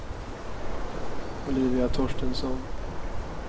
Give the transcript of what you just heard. Olivia Torstensson